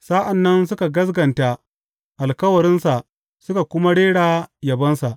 Sa’an nan suka gaskata alkawarinsa suka kuma rera yabonsa.